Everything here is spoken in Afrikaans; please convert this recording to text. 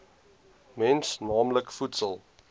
mens naamlik voedsel